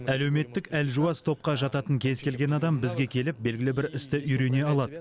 әлеуметтік әлжуаз топқа жататын кез келген адам бізге келіп белгілі бір істі үйрене алады